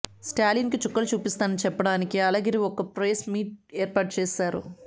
స్టాలిన్ కు చుక్కలు చూపిస్తానని చెప్పడానికి అళగిరి ఒక్క ప్రెస్ మీట్ ఏర్పాటు చేశారు